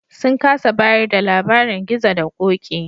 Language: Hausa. Sun kasa bayar da labarin Gizo da Ƙoƙi.